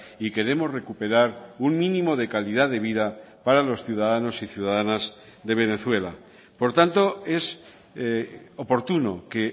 y queremos recuperar un mínimo de calidad de vida para los ciudadanos y ciudadanas de venezuela por tanto es oportuno que